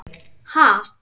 Ha?!